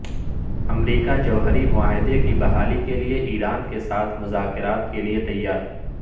امریکا جوہری معاہدے کی بحالی کیلئے ایران کے ساتھ مذاکرات کیلئے تیار